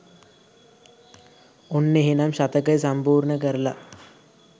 ඔන්න එහෙනම් ශතකය සම්පූර්ණ කරලා